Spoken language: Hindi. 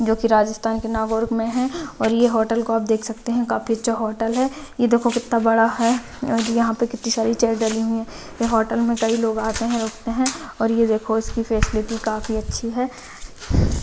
जोकि राजस्थान के नागौर में है और यह होटल को आप देख सकते हैं काफी अच्छा होटल है यह देखो कितना बड़ा है और यहां पर कितनी सारी चेयर डली हुई हैं यह होटल में कई लोग आते हैं रुकते है और यह देखो इसकी फैसिलिटी काफी अच्छी है।